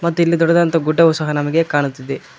ಮತ್ತು ಇಲ್ಲಿ ದೊಡ್ಡದಾದಂತಹ ಗುಡ್ಡವು ಸಹ ನಮಗೆ ಕಾಣುತ್ತಿದೆ.